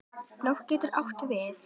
Nótt getur átt við